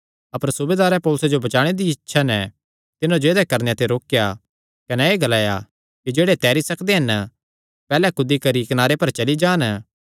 अपर सूबेदारें पौलुसे जो बचाणे दिया इच्छा नैं तिन्हां जो ऐदेया करणे ते रोकेया कने एह़ ग्लाया कि जेह्ड़े तैरी सकदे हन पैहल्ले कूदी करी कनारे पर चली जान